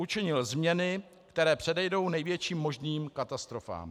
Učinil změny, které předejdou největším možným katastrofám.